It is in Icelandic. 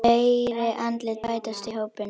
Fleiri andlit bætast í hópinn.